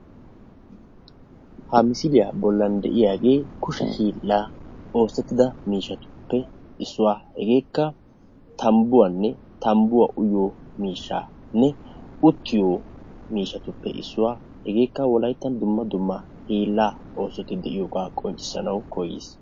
Ha misilya bollan de'iyaagee kushe hiilan oosettida miishshatuppe issuwaa hegekka tambbuwanne tambbuwa uyyiyo miishshatuppe issuwaa hegakka wolayttan dumma dumma hiilaa oosoti de'iyooga qonccissanaw koyiis.